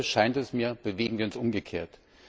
Heute, scheint es mir, bewegen wir uns umgekehrt.